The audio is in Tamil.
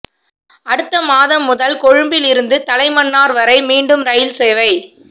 அடுத்த மாதம் முதல் கொழும்பில் இருந்து தலைமன்னார் வரை மீண்டும் ரயில் சேவை